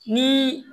Ni